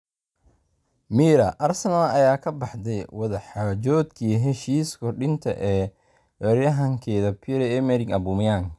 (Mirror) Arsenal ayaa ka baxday wada xaajoodkii heshiis kordhinta ee weeraryahankeeda Pierre-Emerick Aubameyang.